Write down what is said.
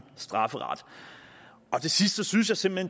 strafferet til sidst synes jeg simpelt